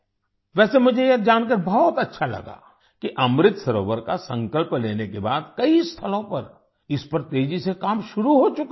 वैसे मुझे ये जानकर अच्छा लगा कि अमृत सरोवर का संकल्प लेने के बाद कई स्थलों पर इस पर तेजी से काम शुरू हो चुका है